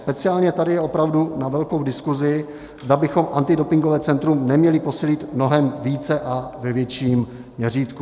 Speciálně tady je opravdu na velkou diskusi, zda bychom antidopingové centrum neměli posílit mnohem více a ve větším měřítku.